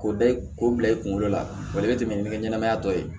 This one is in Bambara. K'o da k'o bila i kunkolo la o le bɛ tɛmɛ ni ɲɛgɛn ɲɛnama tɔ ye